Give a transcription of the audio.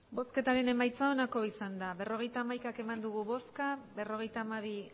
berrogeita hamaika eman dugu bozka berrogeita hamabi